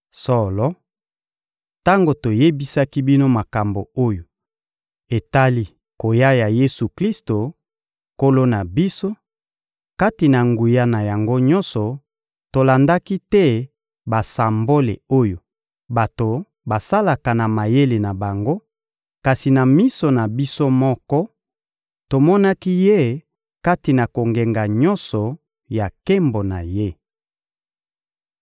Solo, tango toyebisaki bino makambo oyo etali koya ya Yesu-Klisto, Nkolo na biso, kati na nguya na yango nyonso, tolandaki te basambole oyo bato basalaka na mayele na bango, kasi na miso na biso moko, tomonaki Ye kati na kongenga nyonso ya nkembo na Ye.